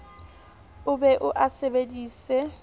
o be o a sebedise